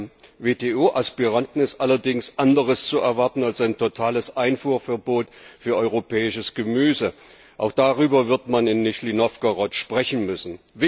Von einem WTO Aspiranten ist allerdings anderes zu erwarten als ein totales Einfuhrverbot für europäisches Gemüse. Auch darüber wird man in Nizhny Novgorod sprechen müssen.